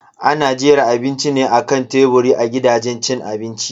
Ana jera abinci ne akan teburi a gidajen cin abinci.